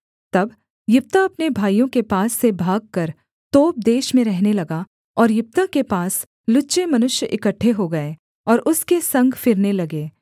तब यिप्तह अपने भाइयों के पास से भागकर तोब देश में रहने लगा और यिप्तह के पास लुच्चे मनुष्य इकट्ठे हो गए और उसके संग फिरने लगे